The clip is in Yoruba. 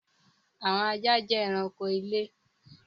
Àwọn ajá jẹ ẹranko ilé.